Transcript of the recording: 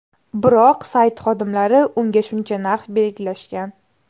Biroq sayt xodimlari unga shuncha narx belgilashgan.